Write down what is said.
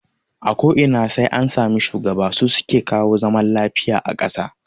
A ko ina sai an sami shugaba, su suke kawo zaman lafiya a kasa